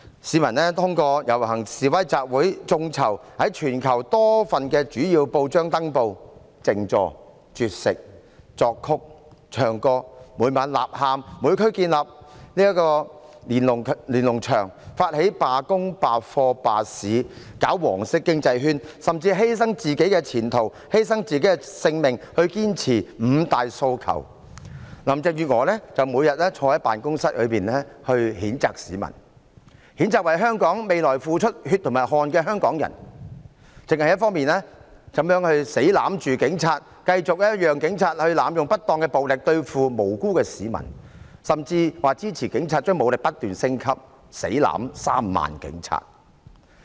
市民遊行、示威和集會、發起眾籌在全球多份主要報章登報、靜坐、絕食、作曲、唱歌、每晚吶喊、在每區建立連儂牆、發起罷工、罷課和罷市，並推動黃色經濟圈，甚至犧牲自己的前途、犧牲自己的性命，堅持五大訴求，林鄭月娥則每天坐在辦公室裏譴責市民，譴責為香港未來付出血和汗的香港人，死也要攬着警察，繼續讓警察濫用不當暴力對付無辜市民，甚至表示支持警察將武力不斷升級，"死攬 "3 萬名警察。